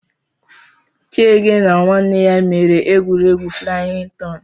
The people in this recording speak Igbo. Chiege na nwanne ya mere egwuregwu flayin tọn